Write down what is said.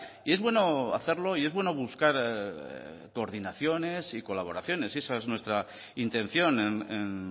y es bueno hacerlo y es bueno buscar coordinaciones y colaboraciones y esa es nuestra intención en